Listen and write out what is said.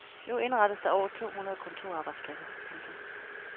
Nu indrettes der over to hundrede kontorarbejdspladser. punktum